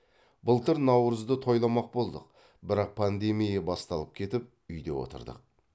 былтыр наурызды тойламақ болдық бірақ пандемия басталып кетіп үйде отырдық